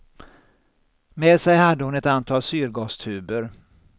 Med sig hade hon ett antal syrgastuber.